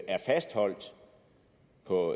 er fastholdt